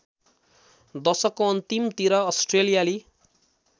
दशकको अन्तिमतिर अस्ट्रेलियाली